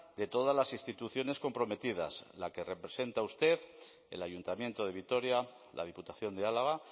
de todas las instituciones comprometidas la que representa usted el ayuntamiento de vitoria la diputación de álava